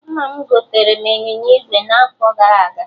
Nna m gotere m ịnyịnya ígwè n'afọ gara aga